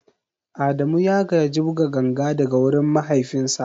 Adamu ya gaji buga ganga daga wurin mahaifinsa.